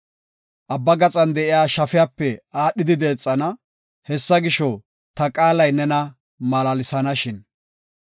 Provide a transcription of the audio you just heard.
Abba gaxan de7iya shafiyape aadhidi deexana; Hessa gisho, ta qaalay nena malaalsenashin.